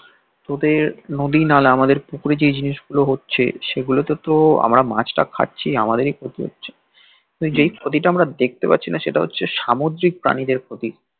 তোদের নদী নালা আমাদের পুকুরে যে এই জিনিস গুলো হচ্ছে সেগুলো তে তো আমরা মাছ টা খাচ্ছি আমাদেরই ক্ষতি হচ্ছে যেই ক্ষতি টা আমরা দেখতে পারছি না সেটা হচ্ছে সামুদ্রিক প্রাণীদের ক্ষতি